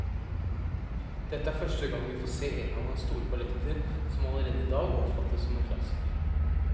Dette er første gang vi får se en av hans store balletter, som allerede i dag oppfattes som en klassiker.